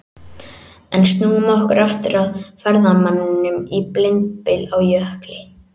En snúum okkur aftur að ferðamanninum í blindbyl á jökli.